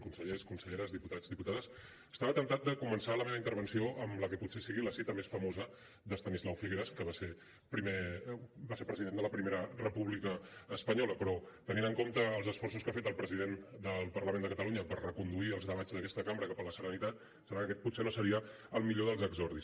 consellers conselleres diputats diputades estava temptat de començar la meva intervenció amb la que potser és la cita més famosa d’estanislau figueras que va ser president de la primera república espanyola però tenint en compte els esforços que ha fet el president del parlament de catalunya per reconduir els debats d’aquesta cambra cap a la serenitat em sembla que aquest potser no seria el millor dels exordis